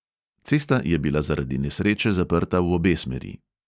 Cesta je bila zaradi nesreče zaprta v obe smeri.